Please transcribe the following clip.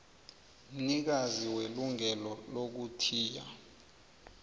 mnikazi welungelo lokuthiya